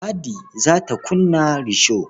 Ladi za ta kunna risho.